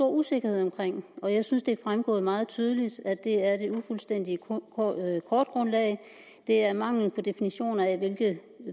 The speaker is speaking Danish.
usikkerhed omkring og jeg synes det er fremgået meget tydeligt at det er det ufuldstændige kortgrundlag det er mangel på definition af hvilke